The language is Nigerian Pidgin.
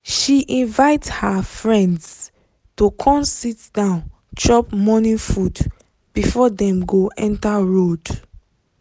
she invite her friends to come sit down chop morning food before them go enter road